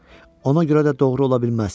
Ona görə də doğru ola bilməz.